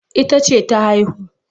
Ita ce ta haihu.